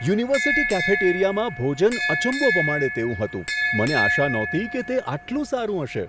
University કેફેટેરિયામાં ભોજન અચંબો પમાડે તેવું હતું, મને આશા નહોતી કે તે આટલું સારું હશે.